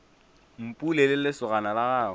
mpule le lesogana la gagwe